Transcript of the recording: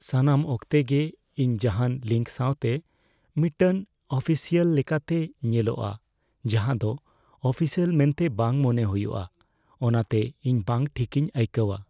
ᱥᱟᱱᱟᱢ ᱚᱠᱛᱮ ᱜᱮ ᱤᱧ ᱡᱟᱦᱟᱱ ᱞᱤᱝᱠ ᱥᱟᱶᱛᱮ ᱢᱤᱫᱴᱟᱝ ᱚᱯᱷᱤᱥᱤᱭᱟᱞ ᱞᱮᱠᱟᱛᱮ ᱧᱮᱞᱚᱜᱼᱟ, ᱡᱟᱦᱟᱸ ᱫᱚ ᱚᱯᱷᱤᱥᱤᱭᱟᱞ ᱢᱮᱱᱛᱮ ᱵᱟᱝ ᱢᱚᱱᱮ ᱦᱩᱭᱩᱜ ᱟ, ᱚᱱᱟᱛᱮ ᱤᱧ ᱵᱟᱝ ᱴᱷᱤᱠᱤᱧ ᱟᱹᱭᱠᱟᱹᱣᱟ ᱾